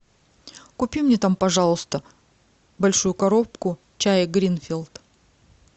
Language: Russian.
купи мне там пожалуйста большую коробку чая гринфилд